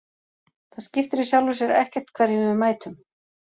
Það skiptir í sjálfu sér ekkert hverjum við mætum.